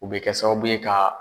O bi kɛ sababu ye ka